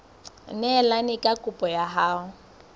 neelane ka kopo ya hao